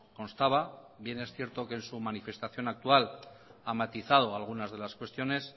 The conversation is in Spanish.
constaba bien es cierto que en su manifestación actual ha matizado algunas de las cuestiones